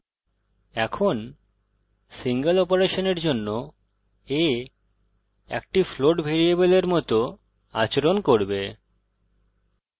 এখন সিঙ্গল অপারেশনের জন্য a একটি float ভ্যারিয়েবলের মত আচরণ করবে